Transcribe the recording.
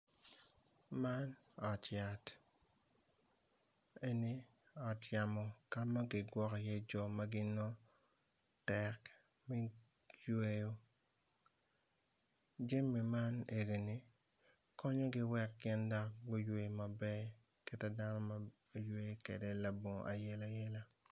Man ot yat eni ot yamo ka ma kigwoko iye jo ma ginongo tek me yweyo jami ma enini konyogi wek gin guywe maber kit madano ywe kwede labongo ayelayela.